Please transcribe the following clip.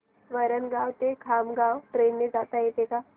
वरणगाव ते खामगाव ट्रेन ने जाता येतं का